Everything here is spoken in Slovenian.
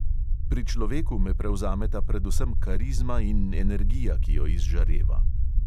Pri človeku me prevzameta predvsem karizma in energija, ki jo izžareva.